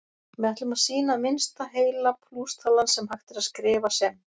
Við ætlum að sýna að minnsta heila plústalan sem hægt er að skrifa sem